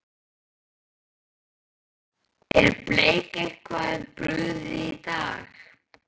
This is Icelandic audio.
Er Bleik eitthvað brugðið í dag?